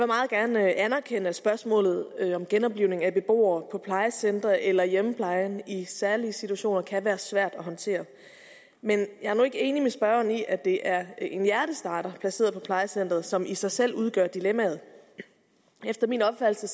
meget gerne anerkende at spørgsmålet om genoplivning af beboere på plejecentre eller i hjemmeplejen i særlige situationer kan være svært at håndtere men jeg er nu ikke enig med spørgeren i at det er en hjertestarter placeret på plejecenteret som i sig selv udgør dilemmaet efter min opfattelse